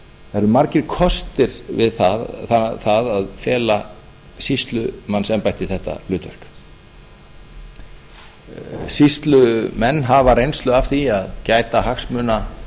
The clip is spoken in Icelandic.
það eru margir kostir við það að fela sýslumannsembætti þetta hlutverk sýslumenn hafa reynslu af því að gæta hagsmuna